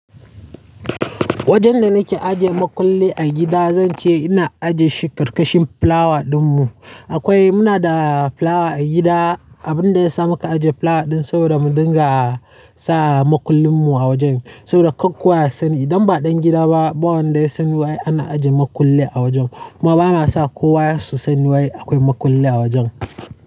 Wajen da nake ajiye makulli a gida, zan ce ina ajiye shi karkashin flower ɗinmu. Akwai, muna da flower a gida. Abin da ya sa muka ajiye flower ɗin saboda mu dinga sa makullin mu a wajen saboda kar kowa ya sani. Idan ba ɗan gida ba, ɓawon da ya san wai ana ajiye makulli a wajen. Kuma bana sa kowa su san wai akwai makulli a wajen.